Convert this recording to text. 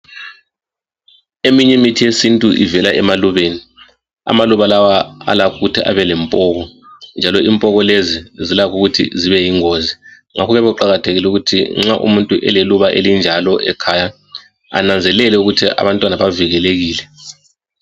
Eminyimithi yesintu ivela emalubeni , amalubalawa alakhukuthi abelempoko njalo impoko lezi zilakhukuthi zibeyingozi, ngakho kuyabe kuqakathekile ukuthi nxa umuntu eleluba elinjalo ekhaya ananzelele ukuthi abantwana bavukelekile.